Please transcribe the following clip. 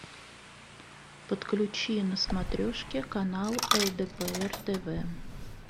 подключи на смотрешке канал лдпр тв